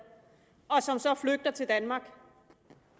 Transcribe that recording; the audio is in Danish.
og som så flygter til danmark